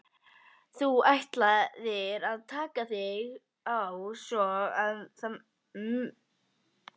Þú ætlaðir að taka þig á svo að um munaði.